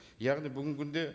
яғни бүгінгі күнде